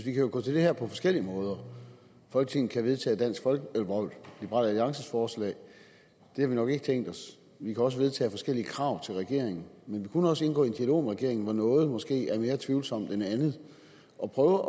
jo gå til det her på forskellige måder folketinget kan vedtage liberal alliances forslag det har vi nok ikke tænkt os vi kan også vedtage forskellige krav til regeringen men vi kunne også indgå i en dialog med regeringen hvor noget måske er mere tvivlsomt end andet og prøve